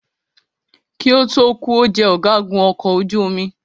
Kí ó tó kù,o jẹ ọ̀gágun ọkọ̀ ojú omi.